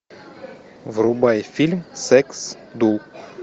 врубай фильм секс ду